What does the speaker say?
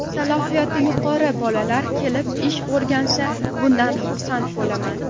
Salohiyati yuqori bolalar kelib ish o‘rgansa, bundan xursand bo‘laman.